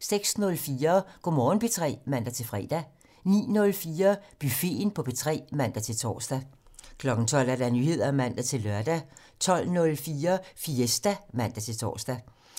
06:04: Go' Morgen P3 (man-fre) 09:04: Buffeten på P3 (man-tor) 12:00: Nyheder (man-lør) 12:04: Fiesta (man-tor)